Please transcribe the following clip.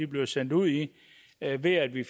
bliver sendt ud i ved at vi